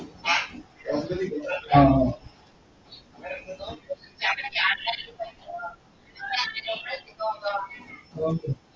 हा